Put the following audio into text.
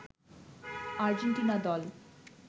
Argentina দল